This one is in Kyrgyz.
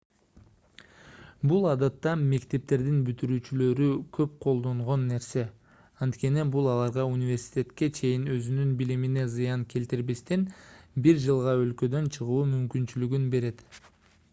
бул адатта мектептердин бүтүрүүчүлөрү көп колдонгон нерсе анткени бул аларга университетке чейин өзүнүн билимине зыян келтирбестен бир жылга өлкөдөн чыгуу мүмкүнчүлүгүн берет